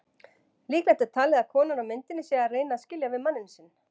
Líklegt er talið að konan á myndinni sé að reyna að skilja við manninn sinn.